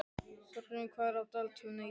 Þorgrímur, hvað er í dagatalinu í dag?